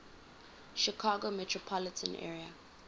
chicago metropolitan area